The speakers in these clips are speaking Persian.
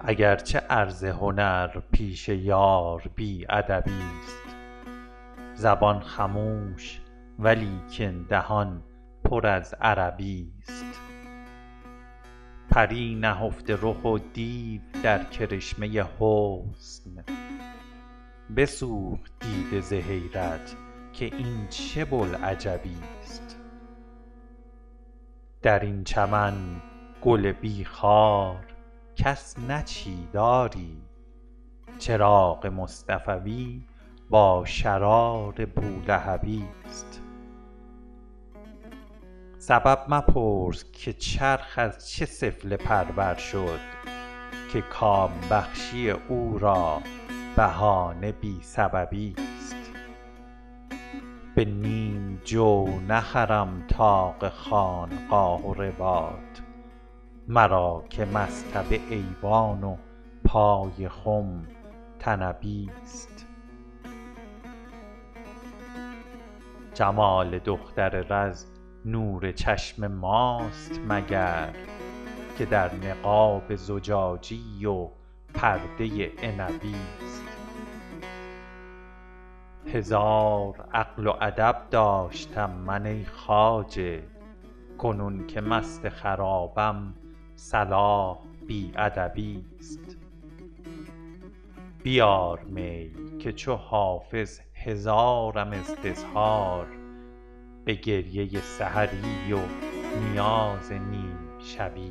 اگر چه عرض هنر پیش یار بی ادبی ست زبان خموش ولیکن دهان پر از عربی ست پری نهفته رخ و دیو در کرشمه حسن بسوخت دیده ز حیرت که این چه بوالعجبی ست در این چمن گل بی خار کس نچید آری چراغ مصطفوی با شرار بولهبی ست سبب مپرس که چرخ از چه سفله پرور شد که کام بخشی او را بهانه بی سببی ست به نیم جو نخرم طاق خانقاه و رباط مرا که مصطبه ایوان و پای خم طنبی ست جمال دختر رز نور چشم ماست مگر که در نقاب زجاجی و پرده عنبی ست هزار عقل و ادب داشتم من ای خواجه کنون که مست خرابم صلاح بی ادبی ست بیار می که چو حافظ هزارم استظهار به گریه سحری و نیاز نیم شبی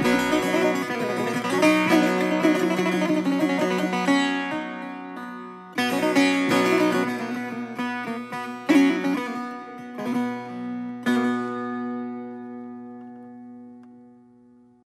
ست